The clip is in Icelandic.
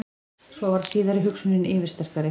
Svo varð síðari hugsunin yfirsterkari.